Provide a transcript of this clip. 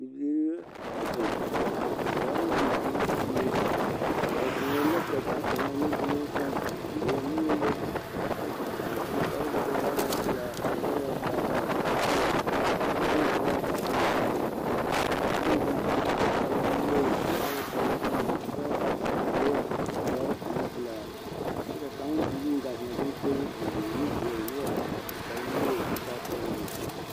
Bibiiri la a zeŋ ba waa la bibiiri pie ba zeŋɛɛ la ka kaŋ zeŋaa nuduloŋ seŋ a leɛ o nuuri liri kyɛ su kparoŋ koo da boɔ a waa pelaa kyɛ wa la waa pelaa baare kyɛ koo de bon koo waa kaakii koo ŋmaa o kɔkɔre ka kaŋ meŋ zeŋ sugluu su kparroo koo waa kyoɔnokyoɔno zeɛ dɔre ane pelaa kyɛ ka kaŋ meŋ gaa zeŋaa kɔŋkɔgreŋ a leɛ o nu teɛ o noɔre kyɛ su kparrenuwogri koo taa sɔglɔ ne peɛli.